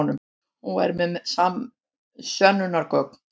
Hún væri með sönnunargögn.